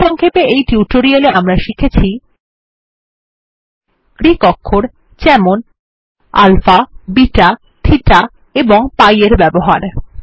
সারসংক্ষেপে এই টিউটোরিয়ালে আমরা শিখেছি গ্রীক অক্ষর যেমন আলফা বিটা থিটা এবং পাই এর ব্যবহার